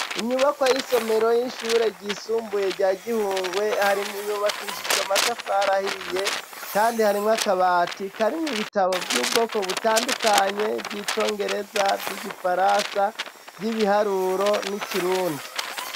Inyubako y'isomero y'inshure ryisumbuye rya gihungwe hari mu yubakishijwe matafarahiye, kandi harimwo akabati kari mwu bitabo vy'ubwoko butandukanye vyicongereza vy'igifarasa vy'ibiharuro n'ikirundi.